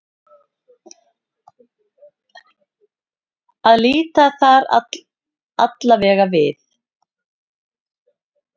Að líta þar allavega við.